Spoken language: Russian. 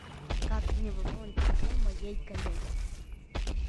как мне пополнить телефон моей коллеги